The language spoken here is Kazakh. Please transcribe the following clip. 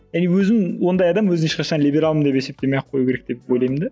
и өзін ондай адам өзін ешқашан либералмын деп есептемей ақ қою керек деп ойлаймын да